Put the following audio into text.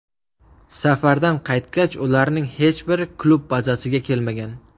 Safardan qaytgach, ularning hech biri klub bazasida kelmagan.